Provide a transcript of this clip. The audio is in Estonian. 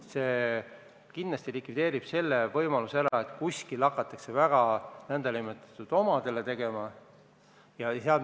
See kindlasti likvideerib võimaluse, et hakatakse väga nn omadele raha jagama.